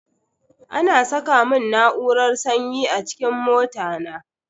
Ana saka mun na'urar sanyi a cikin mota na.